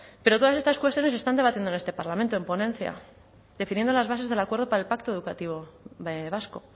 pero todas estas cuestiones se están debatiendo en este parlamento en ponencia definiendo las bases del acuerdo para el pacto educativo vasco